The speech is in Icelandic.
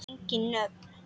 Engin nöfn.